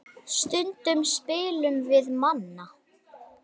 Stundum spilum við Manna.